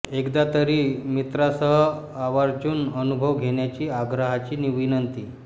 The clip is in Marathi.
एकदा तरी मित्रांसह आवर्जून अनुभव घेण्याची आग्रहाची विनंती